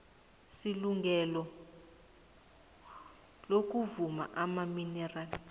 selungelo lokuzuma amaminerali